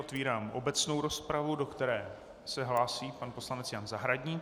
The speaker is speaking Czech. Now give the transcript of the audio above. Otvírám obecnou rozpravu, do které se hlásí pan poslanec Jan Zahradník.